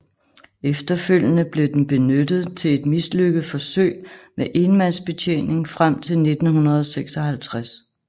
Efterfølgende blev den benyttet til et mislykket forsøg med enmandsbetjening frem til 1956